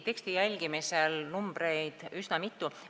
Teksti jälgimise kohta ütlen, et siin on üsna mitu numbrit.